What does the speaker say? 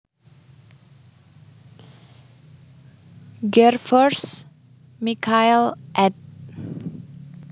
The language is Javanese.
Gervers Michael ed